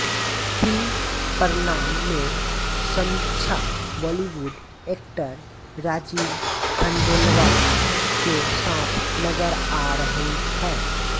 film Pranaam में Sameeksha Bollywood actor Rajeev Khandelwal के साथ नजर आ रही हैं